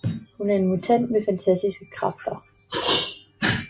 Hun er en mutant med fantastiske kræfter